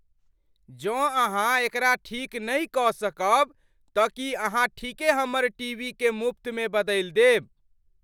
जौं अहाँ एकरा ठीक नहि कऽ सकब तऽ की अहाँ ठीके हमर टीवीकेँ मुफ्तमे बदलि देब?